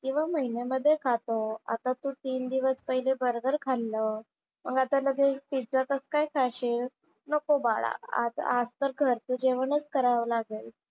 किंवा महिन्या मध्ये खातो. आता तू तीन दिवस पहिले बर्गर खाल्लं. मग आता लगेच पिझ्झा कसं काय खाशील? नको बाळा. आज आज तर घरचं जेवणच करावं लागेल.